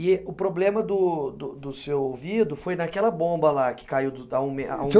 E o problema do do do do seu ouvido foi naquela bomba lá que caiu do da a um